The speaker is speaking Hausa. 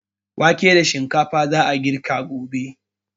Wake da shinkafa za a girka gobe.